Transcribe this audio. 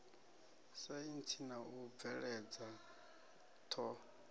saintsi na u bveledza ṱho